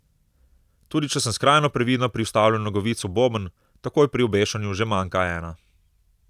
Tudi če sem skrajno previdna pri vstavljanju nogavic v boben, takoj pri obešanju že manjka ena.